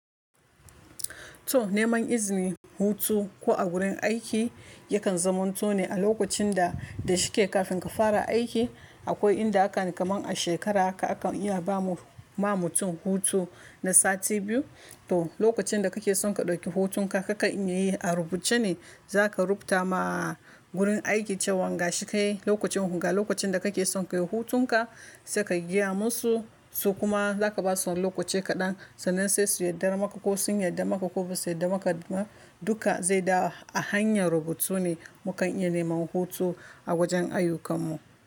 To neman izini, hutu ko a wurin aiki yakan zaman to ne a lokacin da da shike kafin ka fara aiki. Akwai inda hakan kamar a shekara haka akan iya bamu mutum hutu na sati biyu. To lokacin da kake son ka dauki hutun ka, kakan iyayi a rubuce ne, za ka rubuta ma wurin aiki cewan gashi kai, lokacin da kake son ka yi hutun ka, sai ka gaya musu su kuma za ka basu lokaci kaɗan sannan sai su yarda maka ko sun yarda maka ko ba su yarda maka duka zai dawo a hanyar rubutu ne. Mu kan iya neman hutu a wajen ayyukan mu.